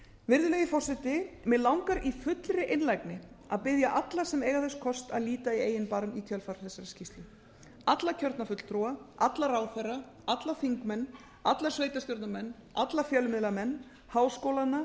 virðulegi forseti mig langar í fullri einlægni að biðja alla sem eiga þess kost að líta í eigin barm í kjölfar þessarar skýrslu alla kjörna fulltrúa alla ráðherra alla þingmenn alla sveitarstjórnarmenn alla fjölmiðlamenn háskólana